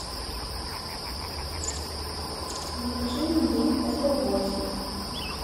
закажи мне эпл вотч